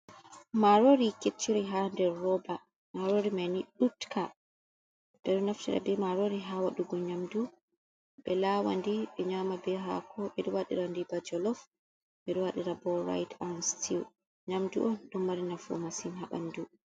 Maaroori kecciri haa nder rooba maarori mai nii ɗo uppa, ɓe do naftira bee maarori haa wadugo nyamdu ɓe laawandi ɓe nyaama bee haako, ɓe ɗo waɗirandi bee jolof, min ɗo waɗira boo raayis an sotiw, nyamdu on ɗo mari nafu masin haa ɓanndu.